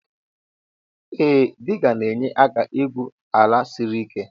Ee diga na enye aka igwụ sla siri ike